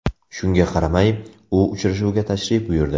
Shunga qaramay, u uchrashuvga tashrif buyurdi.